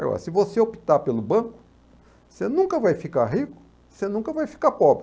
Agora, se você optar pelo banco, você nunca vai ficar rico, você nunca vai ficar pobre.